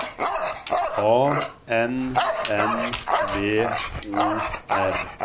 A N N V O R